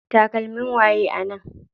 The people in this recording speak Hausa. Takalmin waye a nan?